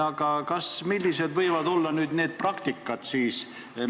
Aga millised võivad olla need praktikad?